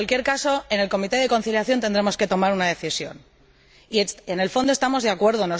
En cualquier caso, en el Comité de Conciliación tendremos que tomar una decisión y, en el fondo, estamos de acuerdo.